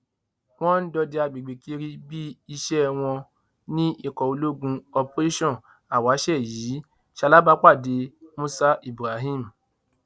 wọn ń dọdẹ àgbègbè kiri bíi ìṣe wọn ní ikọ ológun operation awase yìí ṣalábàpàdé musa ibrahim